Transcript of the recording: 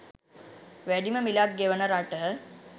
වැඩිම මිලක් ගෙවන රට